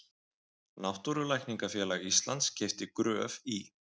Náttúrulækningafélag Íslands keypti Gröf í